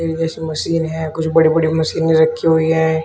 Machine है कुछ बड़ी बड़ी मशीने रखी हुई हैं।